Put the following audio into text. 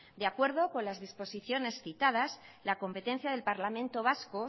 de acuerdo con las disposiciones citadas la competencia del parlamento vasco